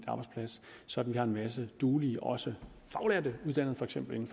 arbejdsplads så vi har en masse duelige også faglærte for eksempel